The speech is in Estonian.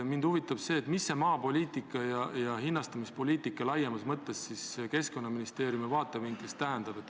Mind huvitab, mida maapoliitika ja hinnastamispoliitika laiemas mõttes Keskkonnaministeeriumi vaatevinklist tähendab.